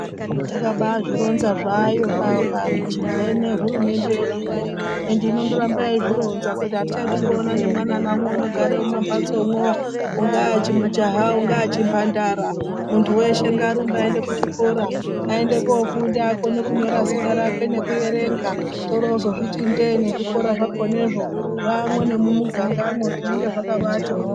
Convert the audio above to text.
Yakabazvironza zvayo pamene hurumende yedu ino ende inoramba yeizvironza kuti hatichadi kuona nemwana naumwe unogara mumatsomo ungava chimujaya ungava chimhandara muntu weshe ngaarumbe aende kuchikora aende kofunda akone kunyora zita rake nekuerenga torozviti ndee nezvikora zvakonazvo zvamo nemumugangamo zvinenge zvakambati mhorwo.